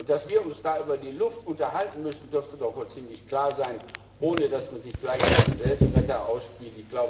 Dass wir uns da über die Luft unterhalten müssen, dürfte doch wohl ziemlich klar sein, ohne dass man sich gleich als Weltretter aufspielt.